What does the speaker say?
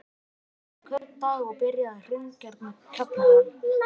Hún skipulagði hvern dag og byrjaði á að hreingera kjallarann